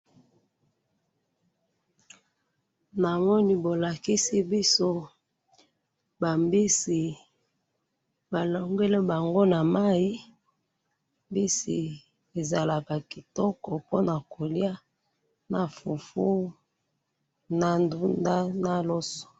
na moni bo lakisi biso ba mbisi balongoli bango na mayi, mbisi ezaka kitoko ponako lia na fufu na ndunda na loso.